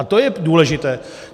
A to je důležité.